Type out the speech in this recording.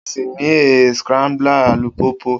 O si ní a scrambler alupupu.